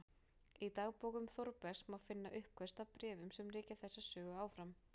Í dagbókum Þórbergs má finna uppköst að bréfum sem rekja þessa sögu áfram